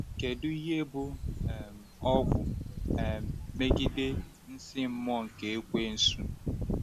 Kedu ihe bụ um ọgwụ um megide nsí mmụọ nke Ekweusu?